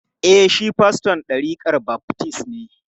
E, shi faston ɗarikar baftis ne.